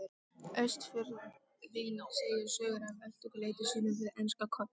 Austfirðing segja sögur af eltingaleik sínum við enska Koll.